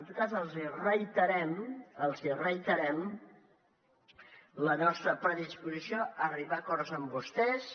en tot cas els reiterem la nostra predisposició a arribar a acords amb vostès